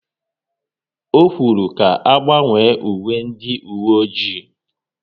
Ọ kwuru ka agbanwe uwe ndị uwe ọjị